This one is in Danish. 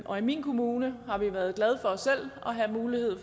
og i min kommune har vi været glade for selv at have mulighed